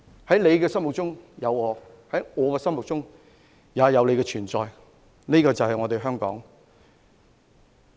在你的心中有我，在我的心中有你——這便是香港。